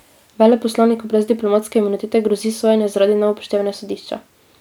Veleposlaniku brez diplomatske imunitete grozi sojenje zaradi neupoštevanja sodišča.